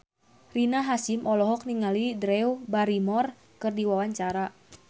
Rina Hasyim olohok ningali Drew Barrymore keur diwawancara